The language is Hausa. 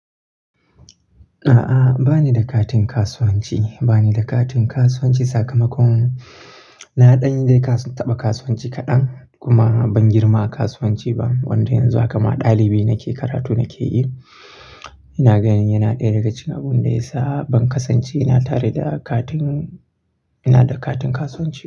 A'a, ba ni da katin kasuwanci. Ba ni da katin kasuwanci sakamakon na ɗanyi dai taba kasuwanci kadan kuma ban girma a kasuwanci ba. Wanda yanzu haka ma ɗalibi nake karatu nake yi. Ina ganin yana ɗaya daga cikin abin da ya sa ban kasance ina tare da katin, ina da katin kasuwanci.